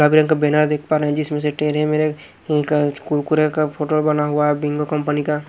गुलाबी रंग का बैनर देख पा रहे हैं जिसमें से तेरे मेरे का कुरकुरे का फोटो बना हुआ है बिंगो कंपनी का--